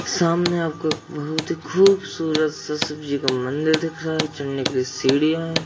सामने आपको बहुत ही खूबसूरत सा शिव जी का मंदिर दिख रहा हैं चढ़ने के लिए सीढ़ीयां है।